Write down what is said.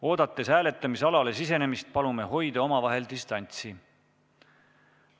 Oodates hääletamisalale sisenemist, palume hoida omavahel distantsi.